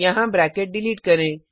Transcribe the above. यहाँ bracket delete करें